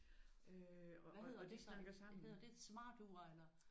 Og øh og det snakker sammen